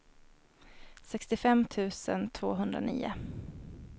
sextiofem tusen tvåhundranio